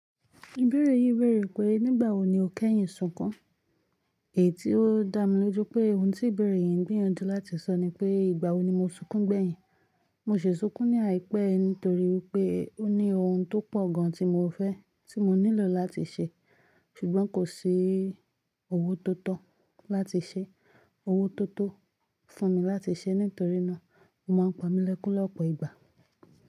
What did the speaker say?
Ìbẹ̀rẹ̀ yìí bèèrè pé nígbà wo ni o kẹ́yìn sunkún? Èyí tí ó dá mi lójú pé ohun tí ìbẹ̀rẹ̀ yìí ń gbìyànjú láti sọ ni pé ìgbà wo ni mo sunkún gbẹ̀yìn? Mo ṣhi sunkún ní àìpé nítorí pé ó ní ohun tó pọ̀ gan tí mo fẹ́, tí mo nílò láti ṣe. Ṣùgbọ́n kò sí owó tó tọ́ láti ṣe, owó tó tó fún mi láti ṣe. Nítorí náà, o máa ń pa mí lẹ́kún lọ́pọ̀ ìgbà.